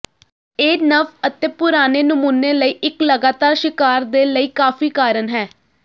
ਇਹ ਨਵ ਅਤੇ ਪੁਰਾਣੇ ਨਮੂਨੇ ਲਈ ਇੱਕ ਲਗਾਤਾਰ ਸ਼ਿਕਾਰ ਦੇ ਲਈ ਕਾਫ਼ੀ ਕਾਰਨ ਹੈ